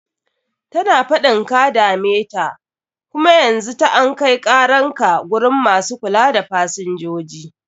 Tana faɗin ka dame ta, kum yanzu ta an kai karan ka gurin masu kula da fasinjoji.